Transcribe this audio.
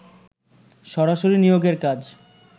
সরাসরি নিয়োগের কাজ